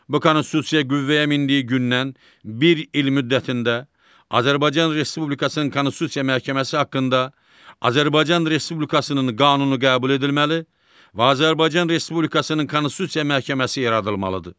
Bu Konstitusiya qüvvəyə mindiyi gündən bir il müddətində Azərbaycan Respublikasının Konstitusiya Məhkəməsi haqqında Azərbaycan Respublikasının qanunu qəbul edilməli və Azərbaycan Respublikasının Konstitusiya Məhkəməsi yaradılmalıdır.